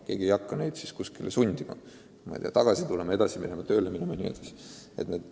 Keegi ei hakka neid sundima kooli või tööle minema vms.